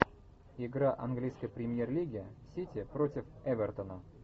игра английской премьер лиги сити против эвертона